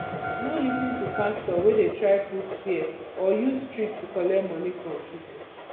no lis ten to pastor wey de try put fear or use trick to collect money from pipo